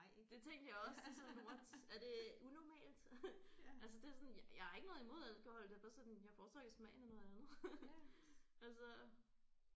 Det tænkte jeg også sådan what er det unormalt altså det sådan jeg jeg har ikke noget imod alkohol det er bare sådan jeg foretrækker smagen af noget andet altså